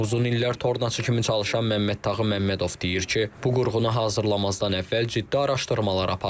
Uzun illər tornacı kimi çalışan Məmməddağı Məmmədov deyir ki, bu qurğunu hazırlamazdan əvvəl ciddi araşdırmalar aparıb.